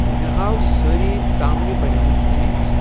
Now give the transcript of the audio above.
مےٚ ہاو سٲری ژامنہِ بَنیمٕتۍ چیٖز۔